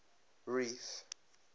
reef